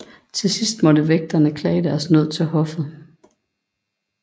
Til sidst måtte vægterne klage deres nød til hoffet